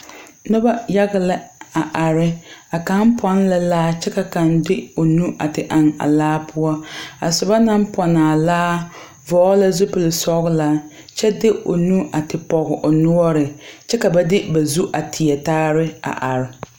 Nuba yaga la a arẽ ka kang paã la laare kye ka kang de ɔ nu a te eng a laa pou a suba nang pɛɛli a laa vɔgle la zupili sɔgla kye di ɔ nu a te pɔg ɔ nɔɔri kye ka ba de ba zuri a teɛ taaree a arẽ.